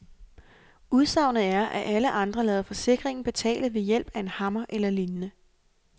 Udsagnet er, at alle andre lader forsikringen betale ved hjælp af en hammer eller lignende.